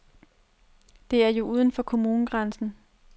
Det er jo uden for kommunegrænsen.